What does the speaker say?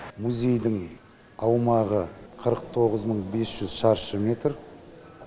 музейдің аумағы қырық тоғыз мың бес жүз шаршы метр